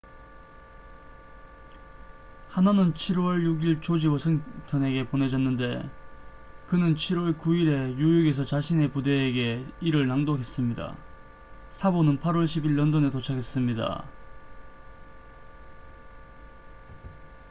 하나는 7월 6일 조지 워싱턴에게 보내졌는데 그는 7월 9일에 뉴욕에서 자신의 부대에게 이를 낭독했습니다 사본은 8월 10일 런던에 도착했습니다